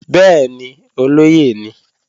Bẹ́ẹ̀ni, olóyè ni